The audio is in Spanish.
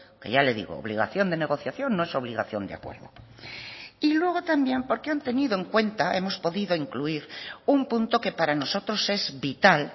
que ya le digo obligación de negociación no es obligación de acuerdo y luego también porque han tenido en cuenta hemos podido incluir un punto que para nosotros es vital